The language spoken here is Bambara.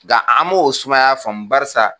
Ga an m'o sumaya faamu barisa.